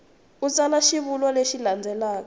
u tsala xivulwa lexi landzelaka